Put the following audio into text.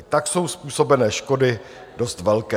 I tak jsou způsobené škody dost velké.